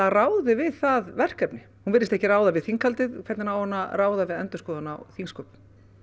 ráði við það verkefni hún virðist ekki ráða við þinghaldið hvernig á hún að ráða við endurskoðun á þingsköpum